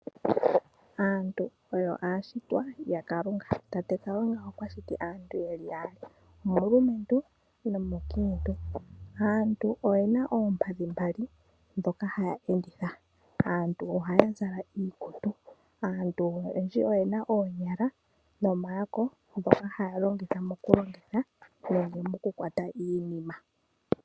Aantu oyo aashitwa yaKalunga tate Kalunga okwashiti aantu yeli yaali omulumentu nomunkiitu. Aantu oyena oompadhi mbali ndhoka haya enditha. Ohaya zala iikutu noyena oonyala noombadhi ndhoka haya longitha okukwata iinima.